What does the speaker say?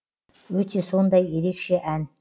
өте сондай ерекше ән